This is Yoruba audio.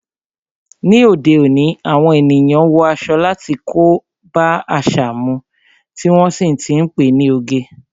Ni òde òní, àwọn ènìyàn wọ aṣọ tí kò bá àṣà mu, tí wọ́n sì ti ń pe ní oge.